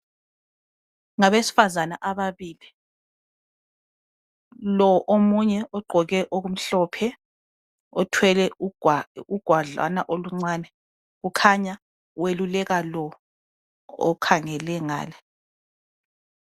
Ngabesifazana ababili. Lo omunye ogqoke okumhlophe, othwele ugwadlana oluncane ukhanya weluleka lo okhangele ngale.